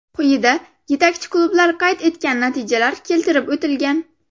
Quyida yetakchi klublar qayd etgan natijalar keltirib o‘tilgan.